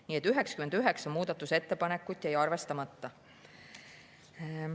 Nii et 99 muudatusettepanekut jäi arvestamata.